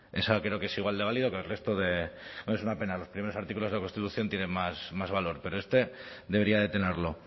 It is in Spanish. ese creo que es igual de válido que el resto de es una pena los primeros artículos de la constitución tienen más valor pero este debería de tenerlo